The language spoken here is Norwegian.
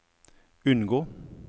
unngå